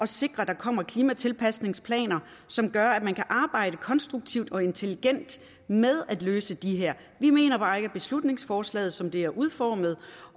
sikre at der kommer klimatilpasningsplaner som gør at man kan arbejde konstruktivt og intelligent med at løse det her vi mener bare ikke at beslutningsforslaget som det er udformet